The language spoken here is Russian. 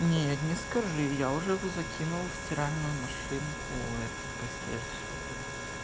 нет не скажи я уже закинул в стиральную машинку эту постель свою